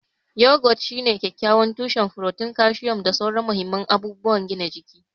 Yogurt shine kyakkyawan tushen furotin, kalcium, da sauran mahimman abubuwan gina jiki.